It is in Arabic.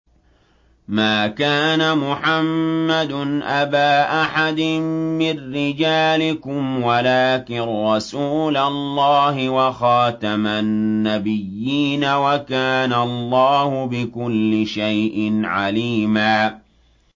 مَّا كَانَ مُحَمَّدٌ أَبَا أَحَدٍ مِّن رِّجَالِكُمْ وَلَٰكِن رَّسُولَ اللَّهِ وَخَاتَمَ النَّبِيِّينَ ۗ وَكَانَ اللَّهُ بِكُلِّ شَيْءٍ عَلِيمًا